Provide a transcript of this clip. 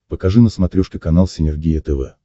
покажи на смотрешке канал синергия тв